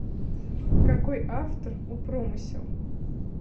какой автор у промысел